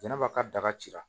Jɛnɛba ka daga cira